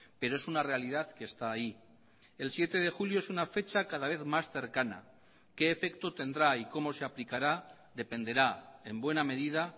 pero es una realidad que está ahí el siete de julio es una fecha cada vez más cercana qué efecto tendrá y cómo se aplicará dependerá en buena medida